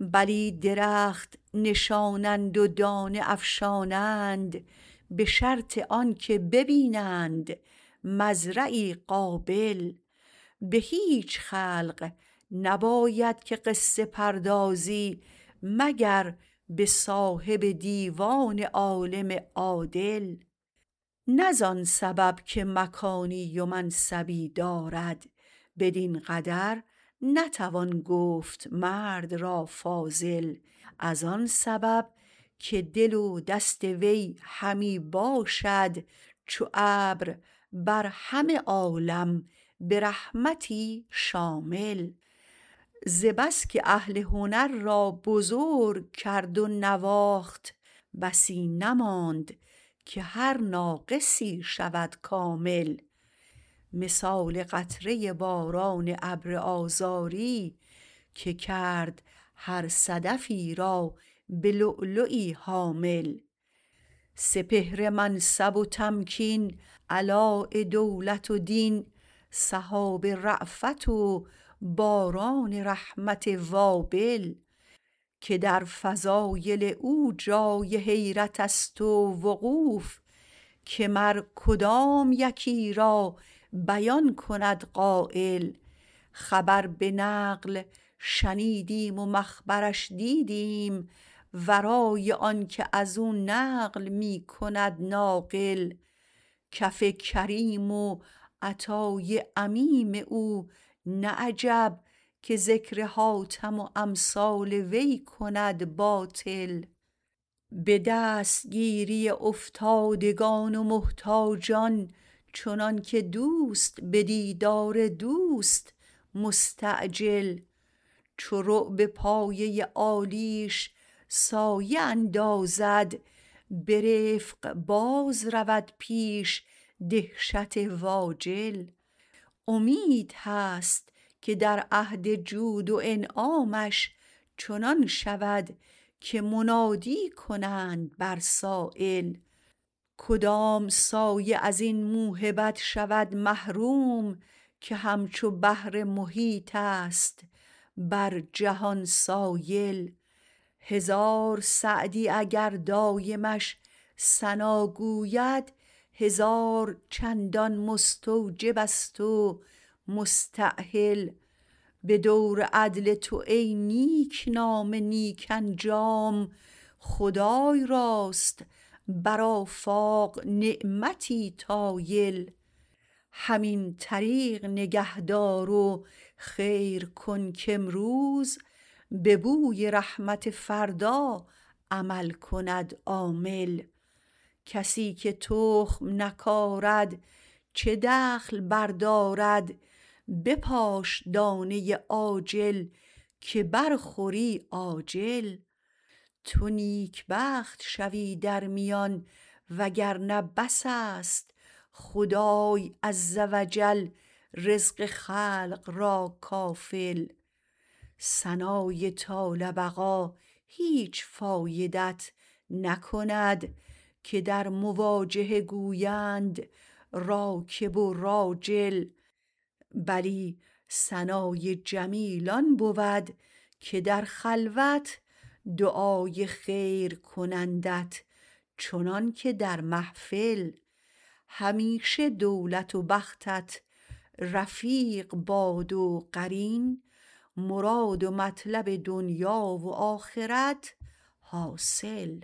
بلی درخت نشانند و دانه افشانند به شرط آنکه ببینند مزرعی قابل به هیچ خلق نباید که قصه پردازی مگر به صاحب دیوان عالم عادل نه زان سبب که مکانی و منصبی دارد بدین قدر نتوان گفت مرد را فاضل ازان سبب که دل و دست وی همی باشد چو ابر همه عالم به رحمتی شامل ز بس که اهل هنر را بزرگ کرد و نواخت بسی نماند که هر ناقصی شود کامل مثال قطره باران ابر آذاری که کرد هر صدفی را به لؤلؤی حامل سپهر منصب و تمکین علاء دولت و دین سحاب رأفت و باران رحمت وابل که در فضایل او جای حیرتست و وقوف که مر کدام یکی را بیان کند قایل خبر به نقل شنیدیم و مخبرش دیدیم ورای آنکه ازو نقل می کند ناقل کف کریم و عطای عمیم او نه عجب که ذکر حاتم و امثال وی کند باطل به دست گیری افتادگان و محتاجان چنانکه دوست به دیدار دوست مستعجل چو رعب پایه عالیش سایه اندازد به رفق باز رود پیش دهشت و اجل امید هست که در عهد جود و انعامش چنان شود که منادی کنند بر سایل کدام سایه ازین موهبت شود محروم که همچو بحر محیطست بر جهان سایل هزار سعدی اگر دایمش ثنا گوید هزار چندان مستوجبست و مستأهل به دور عدل تو ای نیک نام نیک انجام خدای راست بر افاق نعمتی طایل همین طریق نگه دار و خیر کن کامروز به بوی رحمت فردا عمل کند عامل کسی که تخم نکارد چه دخل بردارد بپاش دانه عاجل که برخوری آجل تو نیک بخت شوی در میان وگرنه بسست خدای عزوجل رزق خلق را کافل ثنای طال بقا هیچ فایدت نکند که در مواجهه گویند راکب و راجل بلی ثنای جمیل آن بود که در خلوت دعای خیر کنندت چنانکه در محفل همیشه دولت و بختت رفیق باد و قرین مراد و مطلب دنیا و آخرت حاصل